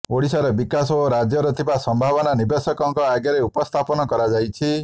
ଓଡ଼ିଶାର ବିକାଶ ଓ ରାଜ୍ୟରେ ଥିବା ସମ୍ଭାବନା ନିବେଶକଙ୍କ ଆଗରେ ଉପସ୍ଥାପନ କରାଯାଇଛି